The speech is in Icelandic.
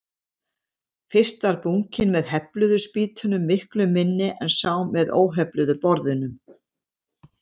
Fyrst var bunkinn með hefluðu spýtunum miklu minni en sá með óhefluðu borðunum.